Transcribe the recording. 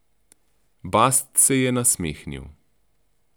Bast se je nasmehnil.